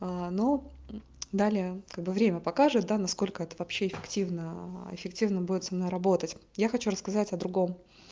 а ну далее как бы время покажет да насколько это вообще активно и эффективно будет со мной работать я хочу рассказать о другом